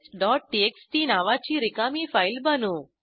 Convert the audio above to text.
testटीएक्सटी नावाची रिकामी फाईल बनवू